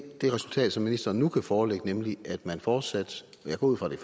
det resultat som ministeren nu forelægger nemlig at man fortsat jeg går ud fra at det